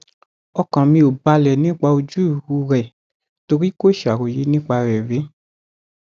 ọkàn mi ò balẹ nípa ojú rẹ torí kò ṣàròyé nípa rẹ rí